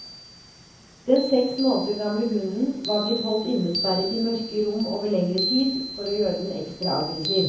Den seks måneder gamle hunden var blitt holdt innesperret i mørke rom over lengre tid, for å gjøre den ekstra aggressiv.